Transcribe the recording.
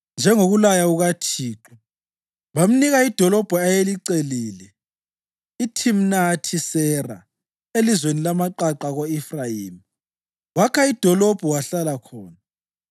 njengokulaya kukaThixo. Bamnika idolobho ayelicelile, iThimnathi-Sera elizweni lamaqaqa ko-Efrayimi. Wakha idolobho wahlala khona.